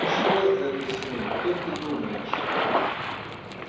что это с ней как ты думаешь